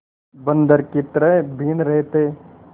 बंदर की तरह बीन रहे थे